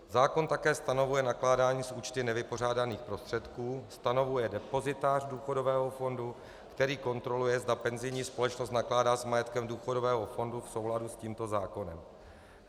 Zákon také stanovuje nakládání s účty nevypořádaných prostředků, stanovuje depozitář důchodového fondu, který kontroluje, zda penzijní společnost nakládá s majetkem důchodového fondu v souladu s tímto zákonem.